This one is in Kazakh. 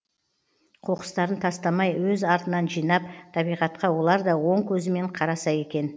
қоқыстарын тастамай өз артынан жинап табиғатқа олар да оң көзімен қараса екен